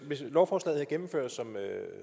hvis lovforslaget gennemføres